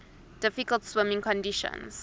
difficult swimming conditions